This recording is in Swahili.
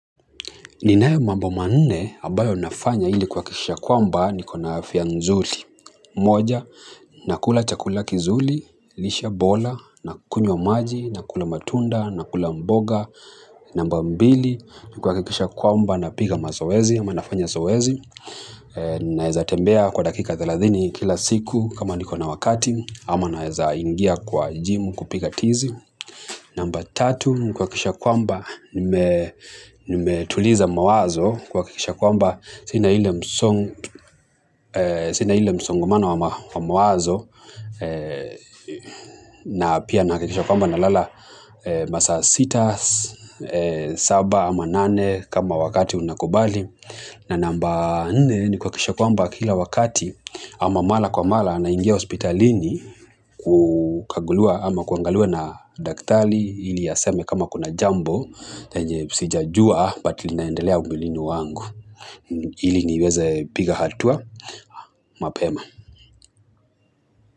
Ninayo mambo manne, ambayo nafanya ili kuhakikisha kwamba niko na afya nzuri. Moja, nakula chakula kizuri, lishe bora, nakunywa maji, nakula matunda, nakula mboga. Namba mbili, kuhakikisha kwamba napiga mazoezi, ama nafanya zoezi. Naweza tembea kwa dakika thelathini kila siku kama niko na wakati, ama naweza ingia kwa jimu kupiga tizi. Namba tatu kuhakikisha kwamba nimetuliza mawazo kuhakikisha kwamba sina ile msongomano wa mawazo na pia nahakikisha kwamba nalala masaa sita, saba ama nane kama wakati unakubali. Na namba nne ni kuhakikisha kwamba kila wakati ama mara kwa mara naingia hospitalini kukaguliwa ama kuangaliwa na daktari ili aseme kama kuna jambo yenye sijajua but linaendelea mwilini wangu ili niweze kupiga hatua mapema.